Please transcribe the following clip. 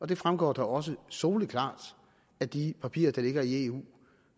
det fremgår da også soleklart af de papirer der ligger i eu